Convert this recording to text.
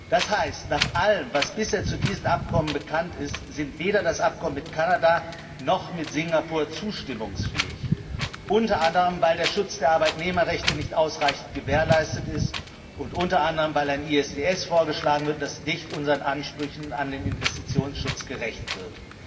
Das heißt, nach allem, was bisher zu diesen Abkommen bekannt ist, sind weder das Abkommen mit Kanada noch das mit Singapur zustimmungsfähig, unter anderem weil der Schutz der Arbeitnehmerrechte nicht ausreichend gewährleistet ist und unter anderem weil ein ISDS vorgeschlagen wird, das nicht unseren Ansprüchen an den Investitionsschutz gerecht wird.